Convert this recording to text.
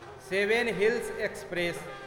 seven Hills express